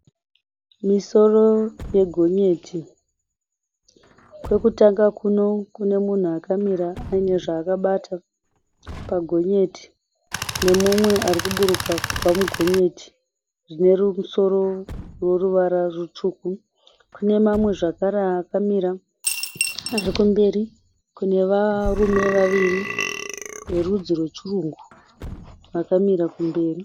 Misoro yegonyeti. Kwekutanga kuno kune munhu akamira aine zvaakabata pagonyeti. Nemumwe arikuburuka kubva mugonyeti rinemusoro rineruvara rutsvuku. Kune mamwe zvakare akamira asi kumberi kune varume vaviri verudzi rwechirungu, vakamira kumberi.